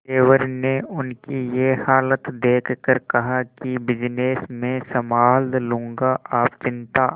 देवर ने उनकी ये हालत देखकर कहा कि बिजनेस मैं संभाल लूंगा आप चिंता